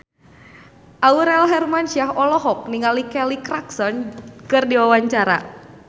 Aurel Hermansyah olohok ningali Kelly Clarkson keur diwawancara